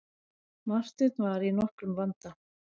Marteinn var í nokkrum vanda.